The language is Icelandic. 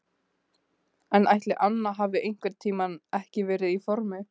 En ætli Anna hafi einhvern tímann ekki verið í formi?